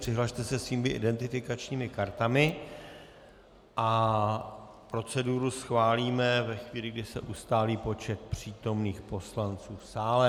Přihlaste se svými identifikačními kartami a proceduru schválíme ve chvíli, kdy se ustálí počet přítomných poslanců v sále.